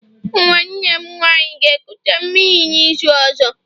nwanne m nwanyi ga-ekuta mmiri n'izu ozo?